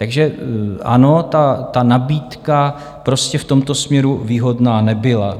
Takže ano, ta nabídka prostě v tomto směru výhodná nebyla.